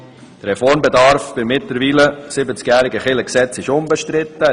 Der Reformbedarf des mittlerweile 70-jährigen Kirchengesetzes ist unbestritten.